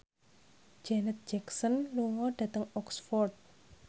Janet Jackson lunga dhateng Oxford